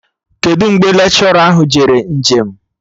Kedụ mgbe lekshọra jere nje m?